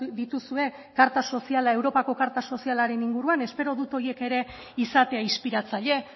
dituzue karta soziala europako karta sozialaren inguruan espero dut horiek ere izatea inspiratzaile